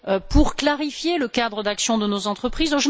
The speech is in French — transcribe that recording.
pour clarifier le cadre d'action de nos entreprises.